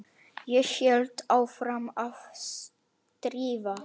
Ég held áfram að stríða.